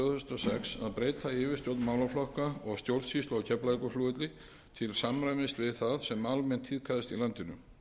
þúsund og sex að breyta yfirstjórn málaflokka og stjórnsýslu á keflavíkurflugvelli til samræmis við það sem almennt tíðkaðist í landinu